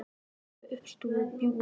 Hún er með uppstúf og bjúgu í matinn.